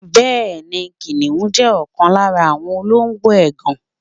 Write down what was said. Bẹẹni, Kìnìún jẹ́ ọ̀kan lára àwọn olóńgbò ègàn.